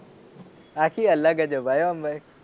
આખી અલગ હતી ભાઈ.